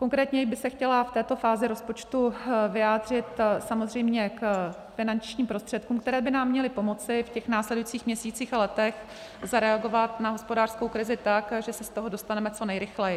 Konkrétněji bych se chtěla v této fázi rozpočtu vyjádřit samozřejmě k finančním prostředkům, které by nám měly pomoci v těch následujících měsících a letech zareagovat na hospodářskou krizi tak, že se z toho dostaneme co nejrychleji.